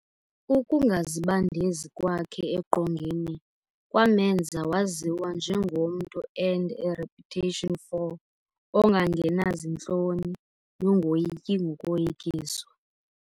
Ukungazibandezi kwakhe eqongeni kwamemnza waziwa njengomntu arned a reputation for "ongangenazintloni nongoyiki ngokoyikiswa".